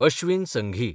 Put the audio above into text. Ashwin Sanghi